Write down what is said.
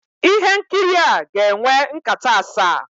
Ihe nkiri a ga-enwe nkata asaa